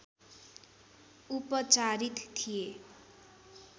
उपचारित थिए